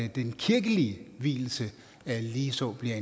den kirkelige vielse ligeså kan